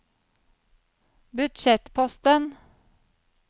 budsjettposten